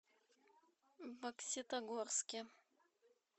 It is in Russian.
бокситогорске